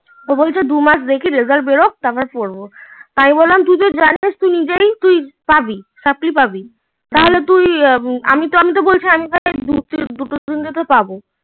তো বলছে দুমাস দেখি রেজাল্ট বেরোক তার পরে পড়বো আমি বললাম তুই পাবি